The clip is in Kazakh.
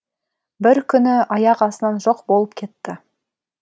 бір күні аяқ астынан жоқ болып кетті